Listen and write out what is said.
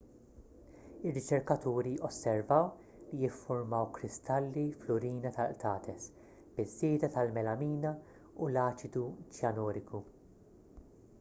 ir-riċerkaturi osservaw li ffurmaw kristalli fl-urina tal-qtates biż-żieda tal-melamina u l-aċidu ċjanuriku